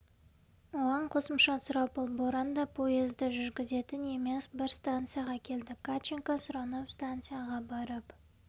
оған қосымша сұрапыл боран да поезды жүргізетін емес бір станцияға келдік катченко сұранып станцияға барып